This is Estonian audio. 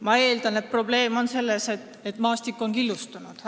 Ma eeldan, et probleem on selles, et maastik on killustunud.